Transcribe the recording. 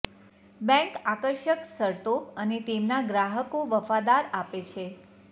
bank આકર્ષક શરતો અને તેમના ગ્રાહકો વફાદાર આપે છે